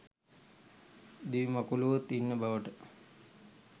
දිවිමකුලූවොත් ඉන්න බවට